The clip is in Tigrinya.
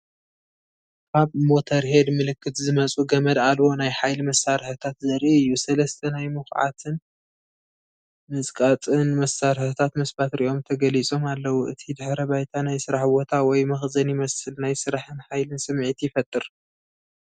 ካብ ሞተርሄድ ምልክት ዝመጹ ገመድ ኣልቦ ናይ ሓይሊ መሳርሒታት ዘርኢ እዩ። ሰለስተ ናይ ምኹዓትን ምጽቃጥን መሳርሒታት ምስ ባትሪኦም ተገሊጾም ኣለዉ። እቲ ድሕረ ባይታ ናይ ስራሕ ቦታ ወይ መኽዘን ይመስል፣ ናይ ስራሕን ሓይልን ስምዒት ይፈጥር።